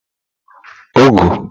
ogụ